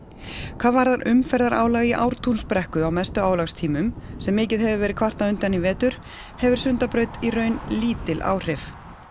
hvað varðar umferðarálag í Ártúnsbrekku á mestu álagstímum sem mikið hefur verið kvartað undan í vetur hefur Sundabraut í raun lítil áhrif